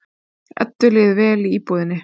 Eddu líður vel í íbúðinni.